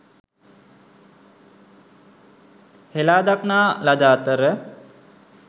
හෙළාදක්නා ලද අතර